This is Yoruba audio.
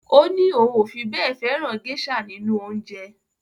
Ó ní òun ò fi bẹ́ẹ̀ fẹ́ràn géṣà nínú oúnjẹ.